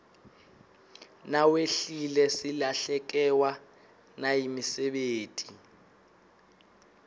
nawehlile silahlekewa nayimisebeti